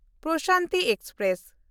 Prashanti express